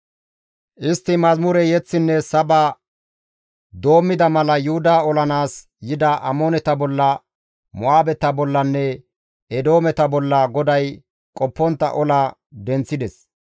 Istti mazamure yeththinne saba doommida mala Yuhuda olanaas yida Amooneta bolla, Mo7aabeta bollanne Eedoometa bolla GODAY qoppontta ola denththides.